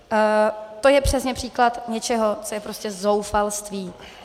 To je přesně příklad něčeho, co je prostě zoufalství.